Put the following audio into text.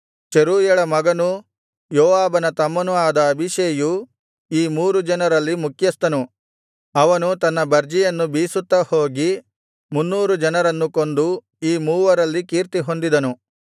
ಚೆರೂಯಳ ಮಗನೂ ಯೋವಾಬನ ತಮ್ಮನೂ ಆದ ಅಬೀಷೈಯು ಈ ಮೂರು ಜನರಲ್ಲಿ ಮುಖ್ಯಸ್ಥನು ಅವನು ತನ್ನ ಬರ್ಜಿಯನ್ನು ಬೀಸುತ್ತಾ ಹೋಗಿ ಮುನ್ನೂರು ಜನರನ್ನು ಕೊಂದು ಈ ಮೂವರಲ್ಲಿ ಕೀರ್ತಿಹೊಂದಿದನು